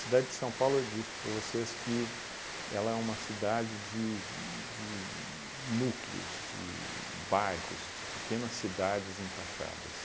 de São Paulo, eu disse para vocês que ela é uma cidade de de núcleos, de bairros, de pequenas cidades encaixadas.